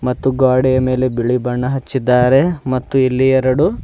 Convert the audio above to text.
ತ್ತು ಗೋಡೆಯ ಮೇಲೆ ಬಿಳಿ ಬಣ್ಣವನ್ನು ಹಚ್ಚಿದ್ದಾರೆ ಮತ್ತು ಇಲ್ಲಿ ಎರಡು--